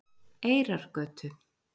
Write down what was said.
Eyrargötu